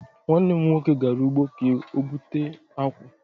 Nwanne m nwoke gara ugbo ka o bụte akwu